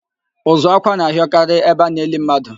Ụzụ ákwạ́ na-ahịọkarị ebe a na-eli mmadu